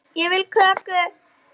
Ég vil kökur.